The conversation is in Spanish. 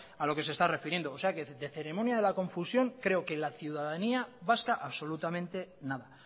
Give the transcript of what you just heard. a lo que se está refiriendo o sea que de ceremonia de la confusión creo que la ciudadanía vasca absolutamente nada